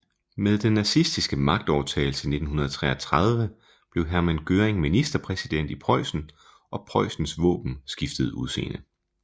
Med den nazistiske magtovertagelse i 1933 blev Hermann Göring ministerpræsident i Preussen og Preussens våben skiftede udseende